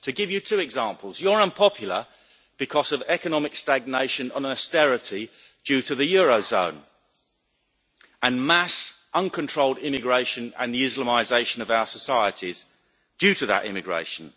To give you two examples, you're unpopular because of economic stagnation on austerity due to the eurozone and mass uncontrolled immigration and the Islamisation of our societies due to that immigration.